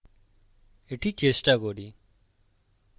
এটি চেষ্টা করি